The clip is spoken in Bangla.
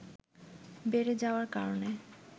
বেড়ে যাওয়ার কারণে